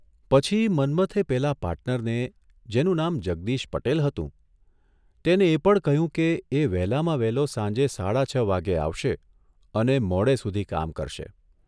પછી મન્મથે પેલા પાર્ટનરને જેનું નામ જગદીશ પટેલ હતું તેને એ પણ કહ્યું કે, એ વહેલામાં વહેલો સાંજે સાડા છ વાગ્યે આવશે અને મોડે સુધી કામ કરશે.